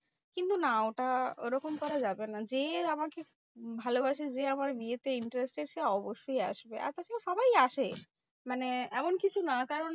কিন্তু না ওটা ওরকম করা যাবে না। যে আমাকে ভালোবাসে যে আমার বিয়েতে interested সে অবশ্যই আসবে। আর তাছাড়া সবাই আসে মানে এমন কিছু না কারণ